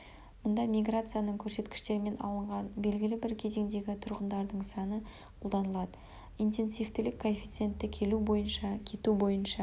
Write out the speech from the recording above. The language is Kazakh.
мұнда миграцияның көрсеткіштермен алынған белгілі бір кезеңдегі тұрғындардың саны қолданылады интенсивтілік коэффицентті келу бойынша кету бойынша